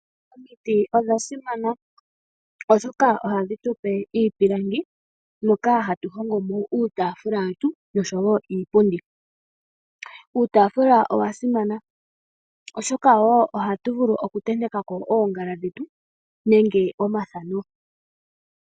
Omiti odha simana oshoka ohadhi tupe iipilangi moka hatu hongo mo uutafula wetu oshowo iipundi. Uutafula owa simana oshoka wo oha tu vulu okutenteka ko oongala dhetu nenge omathano.